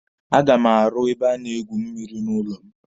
A ga m arụ ebe a na-egwu mmịrị n'ụlọ m.